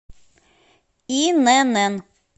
инн